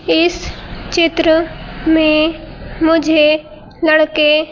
इस चित्र में मुझे लड़के --